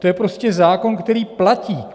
To je prostě zákon, který platí.